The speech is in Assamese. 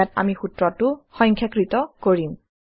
ইয়াত আমি সূত্ৰটো সংখ্যাকৄত কৰিম